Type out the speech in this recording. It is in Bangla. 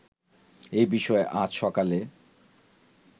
এ বিষয়ে আজ সকালে